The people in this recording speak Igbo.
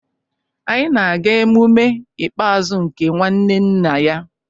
Anyị na-aga emume nke ikpeazụ nke nwanne nna ya